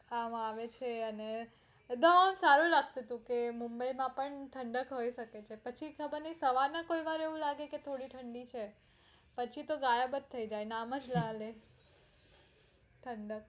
માં આવે છે અને સારું લાગતું તું તો મુંબઈ માં પણ ઠંડક હોય શકે છે પછી ખબર નય સવારમાં થોડી એવું લાગે છે કે થોડી ઠંડી છે પછી તો ગાયબ જ થઈ જાય નામ જ ના લય ઠંડક